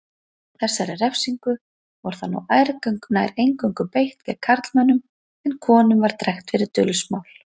Þessari refsingu var þó nær eingöngu beitt gegn karlmönnum en konum var drekkt fyrir dulsmál.